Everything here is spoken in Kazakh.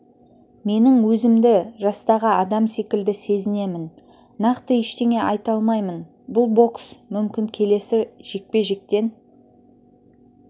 менің өзімді жастағы адам секілді сезінемін нақты ештеңе айта алмаймын бұл бокс мүмкін келесі жекпе-жектен